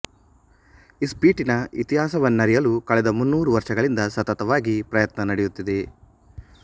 ಇಸ್ಪೀಟಿನ ಇತಿಹಾಸವನ್ನರಿಯಲು ಕಳೆದ ಮುನ್ನೂರು ವರ್ಷಗಳಿಂದ ಸತತವಾಗಿ ಪ್ರಯತ್ನ ನಡೆಯುತ್ತಿದೆ